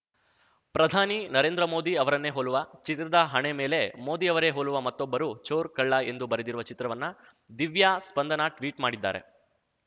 ಪ್ರಧಾನಿ ನರೇಂದ್ರ ಮೋದಿ ಅವರನ್ನೇ ಹೋಲುವ ಚಿತ್ರದ ಹಣೆ ಮೇಲೆ ಮೋದಿ ಅವರೇ ಹೋಲುವ ಮತ್ತೊಬ್ಬರು ಚೋರ್‌ಕಳ್ಳ ಎಂದು ಬರೆದಿರುವ ಚಿತ್ರವನ್ನ ದಿವ್ಯಾ ಸ್ಪಂದನಾ ಟ್ವೀಟ್‌ ಮಾಡಿದ್ದಾರೆ